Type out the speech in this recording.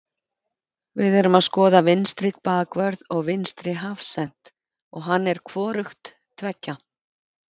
Við erum að skoða vinstri bakvörð og vinstri hafsent og hann er hvorugt tveggja.